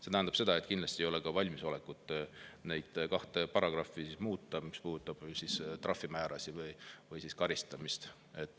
See tähendab seda, et kindlasti ei ole ka valmisolekut neid kahte paragrahvi muuta, mis puudutavad trahvimäärasid või karistamist.